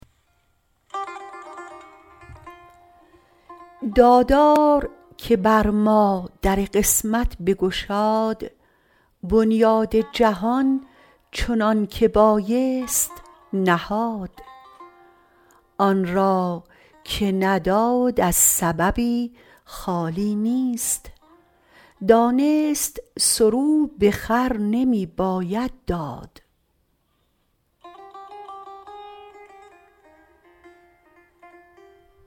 دادار که بر ما در قسمت بگشاد بنیاد جهان چنانکه بایست نهاد آن را که نداد از سببی خالی نیست دانست سرو به خر نمی باید داد